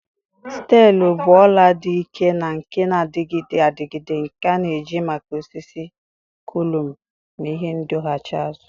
Steelu bụ ọla dị ike na nke na-adịgide adịgide nke a na-eji maka osisi, kọlụm, na ihe ndọghachi azụ.